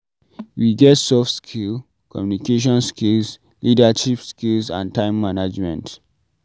We get soft skill, communicaiton skills, leadership skills and time management